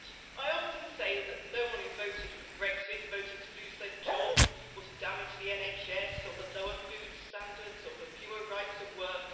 I often say that no one who voted for Brexit, voted to lose their job or to damage the NHS, or for lower food standards or fewer rights at work.